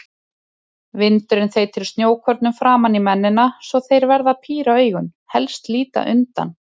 Vindurinn þeytir snjókornum framan í mennina svo þeir verða að píra augun, helst líta undan.